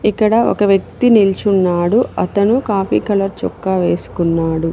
ఇక్కడ ఒక వ్యక్తి నిల్చున్నాడు అతను కాఫీ కలర్ చొక్కా వేసుకున్నాడు.